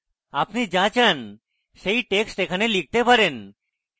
আপনি যা চান সেই text এখানে লিখতে পারেন